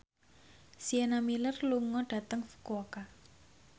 Sienna Miller lunga dhateng Fukuoka